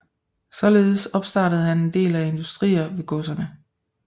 Således opstartede han en del industrier ved godserne